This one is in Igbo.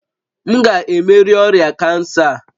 M ga-emeri ọrịa kansa a?